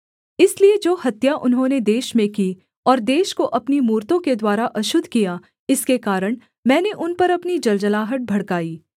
इसलिए जो हत्या उन्होंने देश में की और देश को अपनी मूरतों के द्वारा अशुद्ध किया इसके कारण मैंने उन पर अपनी जलजलाहट भड़काई